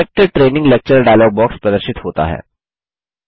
select training lecture file dialog प्रदर्शित होता है